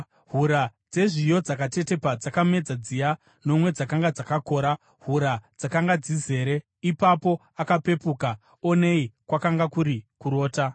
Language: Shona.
Hura dzezviyo dzakatetepa dzakamedza dziya nomwe dzakanga dzakakora, hura dzakanga dzizere. Ipapo akapepuka, onei kwakanga kuri kurota.